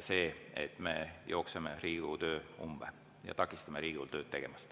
see, et me jooksutame Riigikogu töö umbe ja takistame Riigikogul tööd teha.